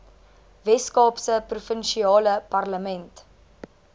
weskaapse provinsiale parlement